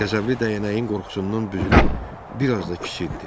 Qəzəbli dəyənəyin qorxusundan büzülüb bir az da kiçildi.